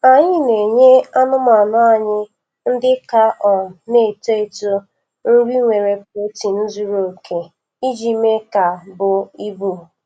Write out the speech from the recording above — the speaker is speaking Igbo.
Anyị na-enye anụmanụ anyị ndị ka um na-eto eto nri nwere protein zuru oke iji mee ka buo ibu